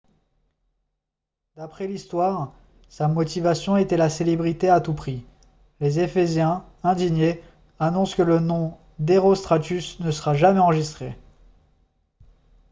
d'après l'histoire sa motivation était la célébrité à tout prix les ephésiens indignés annoncent que le nom d'herostratus ne sera jamais enregistré